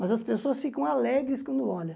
Mas as pessoas ficam alegres quando olham.